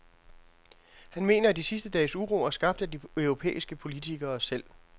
Han mener, at de sidste dages uro er skabt af de europæiske politikere selv.